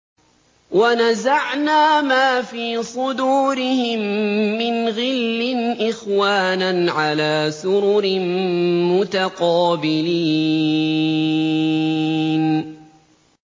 وَنَزَعْنَا مَا فِي صُدُورِهِم مِّنْ غِلٍّ إِخْوَانًا عَلَىٰ سُرُرٍ مُّتَقَابِلِينَ